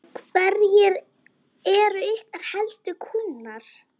Hverjir eru ykkar helstu kúnnar?